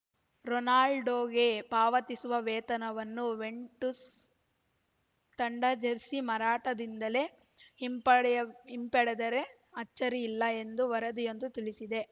ರೊನಾಲ್ಡೋಗೆ ಪಾವತಿಸುವ ವೇತನವನ್ನು ಯುವೆಂಟುಸ್‌ ತಂಡ ಜೆರ್ಸಿ ಮಾರಾಟದಿಂದಲೇ ಹಿಂಪಡೆಯ್ವ್ ಹಿಂಪಡೆದರೆ ಅಚ್ಚರಿಯಿಲ್ಲ ಎಂದು ವರದಿಯೊಂದು ತಿಳಿಸಿದೆ